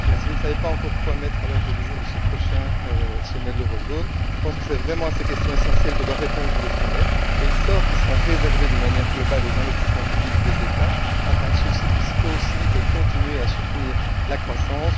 Eh bien, si vous ne savez pas encore quoi mettre à l'ordre du jour de ce prochain sommet de la zone euro, je pense que c'est vraiment à ces questions essentielles que doit répondre le sommet, notamment le sort qui sera réservé, d'une manière globale, aux investissements publics des États afin que ceux ci puissent aussi continuer à soutenir la croissance.